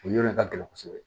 O yɔrɔ in de ka gɛlɛn kosɛbɛ